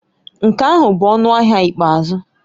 Nke ahụ bụ ọnụ ahịa ikpeazụ